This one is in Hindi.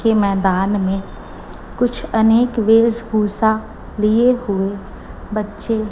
के मैदान में कुछ अनेक वेशभूषा लिए हुए बच्चे--